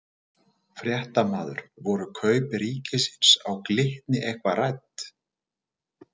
Fréttamaður: Voru kaup ríkisins á Glitni eitthvað rædd?